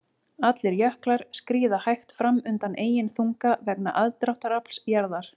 Allir jöklar skríða hægt fram undan eigin þunga vegna aðdráttarafls jarðar.